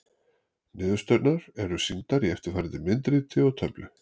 Niðurstöðurnar eru sýndar í eftirfarandi myndriti og töflu: